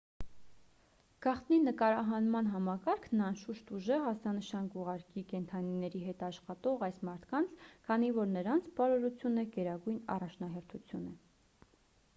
գաղտնի նկարահանման համակարգն անշուշտ ուժեղ ազդանշան կուղարկի կենդանիների հետ աշխատող այս մարդկանց քանի որ նրանց բարօրությունը գերագույն առաջնահերթություն է